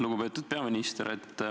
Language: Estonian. Lugupeetud peaminister!